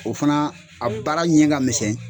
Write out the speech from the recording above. O fana a baara ɲɛ ka misɛn